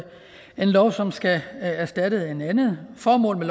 lov som skal erstatte en anden formålet